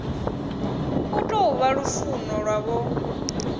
u tou vha lufuno lwavho